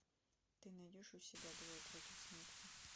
ты найдешь у себя двое против смерти